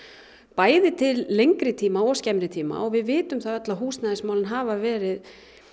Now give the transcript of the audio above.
bæði til lengri tíma og skemmri tíma og við vitum það öll að húsnæðismálin hafa verið